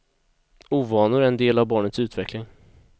Ovanor är en del av barnets utveckling.